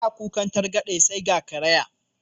Ana kukan targaɗe sai ga karaya.